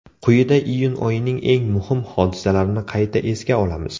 Quyida iyun oyining eng muhim hodisalarini qayta esga olamiz.